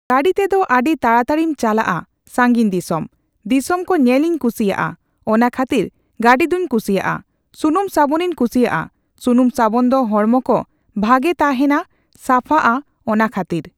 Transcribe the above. ᱜᱟᱹᱰᱤ ᱛᱮᱫᱚ ᱟᱹᱰᱤ ᱛᱟᱲᱟᱛᱟᱲᱤᱢ ᱪᱟᱞᱟᱜᱼᱟ ᱥᱟᱺᱜᱤᱧ ᱫᱤᱥᱚᱢ᱾ ᱫᱤᱥᱚᱢ ᱠᱚ ᱧᱮᱞᱤᱧ ᱠᱩᱥᱤᱭᱟᱜᱼᱟ, ᱚᱱᱟ ᱠᱷᱟᱹᱛᱤᱨ ᱜᱟᱹᱰᱤ ᱫᱩᱧ ᱠᱩᱥᱤᱭᱟᱜᱼᱟ᱾ ᱥᱩᱱᱩᱢ ᱥᱟᱵᱚᱱᱤᱧ ᱠᱩᱥᱤᱭᱟᱜᱼᱟ, ᱥᱩᱱᱩᱢ ᱥᱟᱵᱚᱱ ᱫᱚ ᱦᱚᱲᱢᱚ ᱠᱚ ᱵᱷᱟᱜᱮ ᱛᱟᱦᱮᱸᱱᱟ ᱥᱟᱯᱷᱟᱜᱼᱟ ᱚᱱᱟ ᱠᱷᱟᱹᱛᱤᱨ᱾